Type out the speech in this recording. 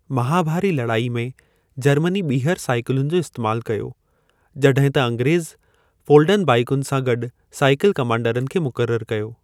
महाभारी लड़ाई में जर्मनी ॿीहर साइकिलुनि जो इस्तैमालु कयो, जड॒हिं त अंग्रेज़ फोल्डिंग बाइकुनि सां गॾु साइकिल-कमांडरनि खे मुक़ररु कयो।